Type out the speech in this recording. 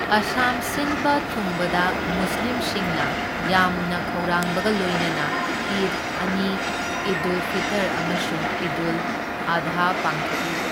ꯑꯁꯥꯝ ꯁꯤꯟꯕ ꯊꯨꯡꯕꯗ ꯃꯨꯁꯂꯤꯝꯁꯤꯡꯅ ꯌꯥꯝꯅ ꯈꯧꯔꯥꯡꯕꯒ ꯂꯣꯏꯅꯅ ꯏꯗ ꯑꯅꯤ ꯏꯗꯗꯨꯜ ꯐꯤꯇꯔ ꯑꯃꯁꯨꯡ ꯏꯗꯗꯨꯜ ꯑꯥꯙꯥ ꯄꯥꯡꯊꯣꯛꯏ꯫